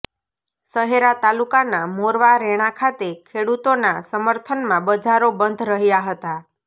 શહેરા તાલુકાના મોરવા રેણા ખાતે ખેડુતોના સર્મથનમાં બજારો બંધ રહ્યા હતા